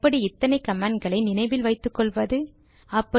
அது சரி எப்படி இத்தனை கமாண்ட் களை நினைவில் வைத்துக்கொள்வது